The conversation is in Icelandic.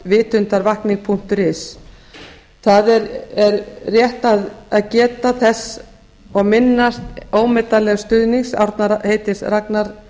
wwwvitundarvakning punktur is það er rétt að geta þess og minnast ómetanlegs stuðnings árna heitins ragnarssonar